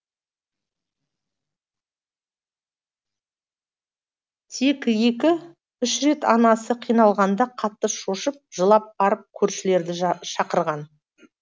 тек екі үш рет анасы қиналғанда қатты шошып жылап барып көршілерді шақырған